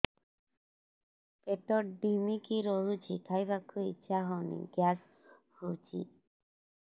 ପେଟ ଢିମିକି ରହୁଛି ଖାଇବାକୁ ଇଛା ହଉନି ଗ୍ୟାସ ହଉଚି